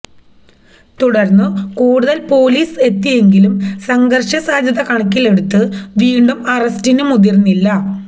തുടർന്നു കൂടുതൽ പൊലിസ് എത്തിയെങ്കിലും സംഘർഷ സാധ്യത കണക്കിലെടുത്ത് വീണ്ടും അറസ്റ്റിനു മുതിർന്നില്ല